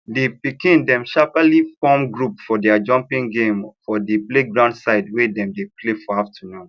the pikin dem sharply form group for their jumping game for the playground side wey dem dey play for afternoon